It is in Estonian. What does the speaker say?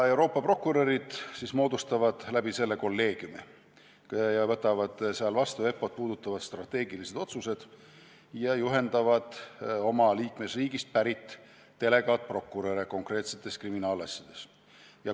Euroopa prokurörid moodustavad kolleegiumi, võtavad vastu EPPO-t puudutavad strateegilised otsused ja juhendavad oma liikmesriigist pärit delegaatprokuröre konkreetsetes kriminaalasjades.